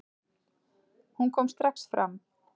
Hún kom strax fram.